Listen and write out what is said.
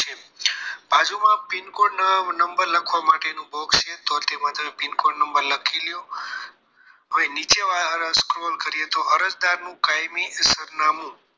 બાજુમાં pincode number લખવા માટે box છે તો તેમાં પીનકોડ નંબર લખી લો નીચે વાળા scroll કરીએ તો અરજદારનું કાયમી સરનામું